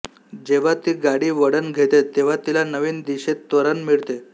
जेव्हा ती गाडी वळण घेते तेव्हा तिला नवीन दिशेत त्वरण मिळते